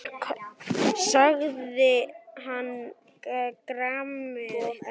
sagði hann gramur.